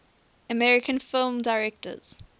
american film directors